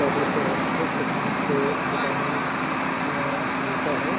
स्वादिस्ट रहता है इसको खाने से विटामिन हमें मिलता है।